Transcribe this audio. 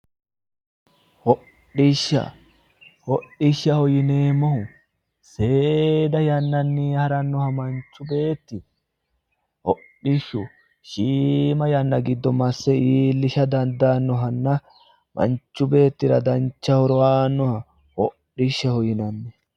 Hodhishsha ,hodhishshaho yineemmohu seeda yannanni haranoha manchu beetti hodhishshu shiima yanna giddo masse iillisha dandaanohanna manchu beettira dancha horo aanoha hodhishshaho yinnanni.